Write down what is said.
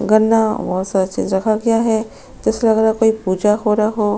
गन्ना वसजे रखा गया है। ऐसा लग रहा है कोई पूजा हो रही हो।